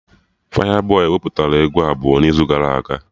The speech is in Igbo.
Fayabọy wepụtara egwu abụọ n'izu gara aga